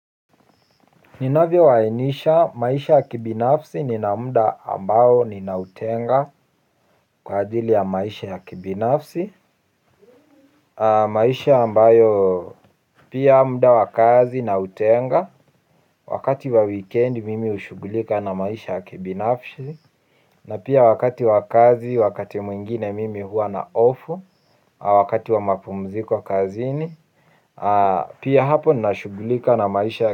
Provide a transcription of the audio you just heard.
Ninavyowainisha maisha ya kibinafsi nina mda ambao ninautenga kwa ajili ya maisha ya kibinafsi. Maisha ambayo pia mda wa kazi nautenga. Wakati wa wikendi mimi hushugulika na maisha ya kibinafsi na pia wakati wa kazi wakati mwingine mimi hua na off. Wakati wa mapumziko kazini pia hapo ninashugulika na maisha ya.